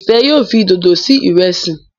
Ifẹ yóò fí dodo sí Ìrẹsí.